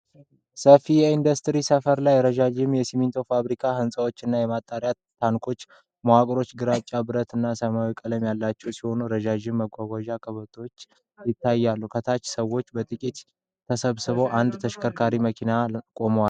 በሰፊ የኢንዱስትሪ ስፍራ ላይ፣ ረጃጅም የሲሚንቶ ፋብሪካ ህንፃዎች እና የማጠራቀሚያ ታንከሮች። መዋቅሮቹ ግራጫ፣ ብረት እና ሰማያዊ ቀለም ያላቸው ሲሆኑ፣ በረጅም ማጓጓዣ ቀበቶዎች ተያይዘዋል። ከታች ሰዎች በጥቂቱ ተሰብስበው ፣ አንድ ተሽከርካሪ መኪና ቆመዋል።